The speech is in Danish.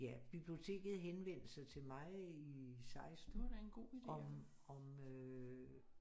Ja biblioteket henvendte sig til mig i 16 om øh